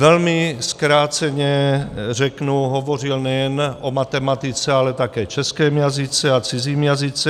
Velmi zkráceně řeknu, hovořil nejen o matematice, ale také českém jazyce a cizím jazyce.